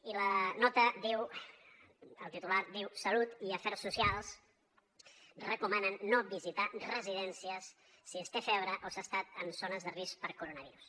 i la nota diu el titular diu salut i afers socials recomanen no visitar residències si es té febre o s’ha estat en zones de risc per coronavirus